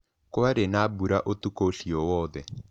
Kwarĩ na mbura ũtukũ ũcio wothe.